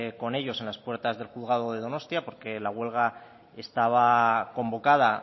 con ellos en las puertas del juzgado de donostia porque la huelga estaba convocada